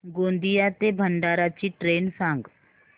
गोंदिया ते भंडारा ची ट्रेन सांग